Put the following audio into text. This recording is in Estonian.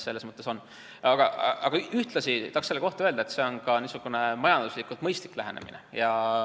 Samas ma tahan selle kohta öelda, et see on ka niisugune majanduslikult mõistlik lähenemine.